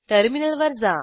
टर्मिनलवर जा